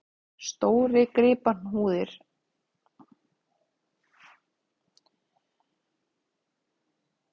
Stórgripahúðir voru og rakaðar og breiddar upp, en oftar þó úti við.